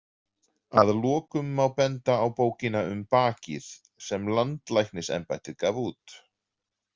Að lokum má benda á Bókina um bakið sem Landlæknisembættið gaf út.